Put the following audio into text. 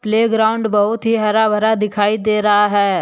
यह ग्राउंड बहुत ही हरा भरा दिखाई दे रहा है ।